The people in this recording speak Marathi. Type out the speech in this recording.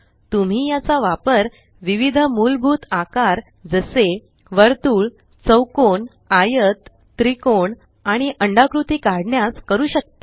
तुम्ही याचा वापर विविध मूलभूत आकार जसे वर्तुळ चौकोन आयत त्रिकोण आणि अंडाकृती काढण्यास करू शकता